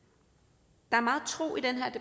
der meget